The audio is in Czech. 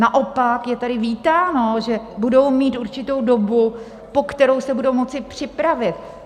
Naopak je tady vítáno, že budou mít určitou dobu, po kterou se budou moci připravit.